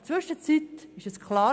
Inzwischen ist es klar: